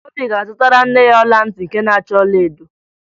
Obi ga-azụtara nne ya ọla ntị nke na-acha ọlaedo